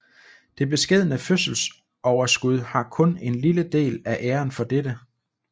Det beskedne fødselsoverskud har kun en lille del af æren for dette